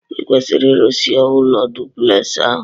Ikwesiri irụsi ụlọ duplex ahu!!